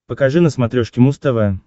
покажи на смотрешке муз тв